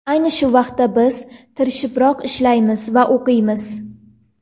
Ayni shu vaqtda biz tirishibroq ishlaymiz va o‘qiymiz.